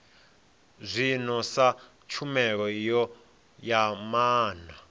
zwino sa tshumelo ya maana